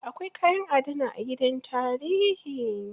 Akwai kayan adana a gidan tarihi.